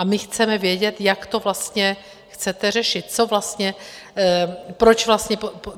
A my chceme vědět, jak to vlastně chcete řešit, co vlastně, proč vlastně...